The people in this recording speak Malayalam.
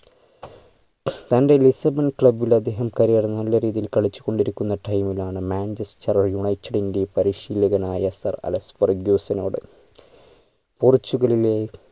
തൻ്റെ lisbon club ഇൽ അദ്ദേഹം career നല്ല രീതിയിൽ കളിച്ചു കൊണ്ടിരിക്കുന്ന time ലാണ് manchester united ൻറ്റെ പരിശീലകനായ sir അലക്സ് ഫെർഗ്യൂസിനോട് പോർട്ടുഗലിലെ